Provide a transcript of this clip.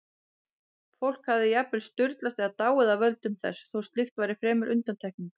Fólk hafði jafnvel sturlast eða dáið af völdum þess, þó slíkt væri fremur undantekning.